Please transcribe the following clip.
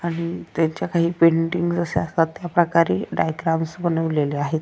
आणि त्यांच्या काही पेंटिंग जश्या असतात त्या प्रकारे डायग्राम्स बनवलेल्या आहे.